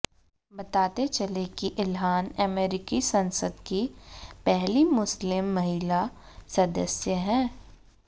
बताते चलें कि इल्हान अमेरिकी संसद की पहली मुस्लिम महिला सदस्य हैं